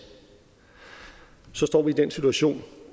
så står vi i den situation